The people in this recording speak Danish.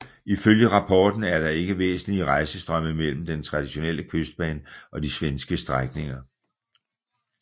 Ifølge rapporten er der ikke væsentlige rejsestrømme mellem den traditionelle Kystbane og de svenske strækninger